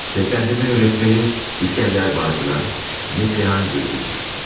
Səsləndirmə rətməni İskəndər Bağcılar, Neslihan Gürgün.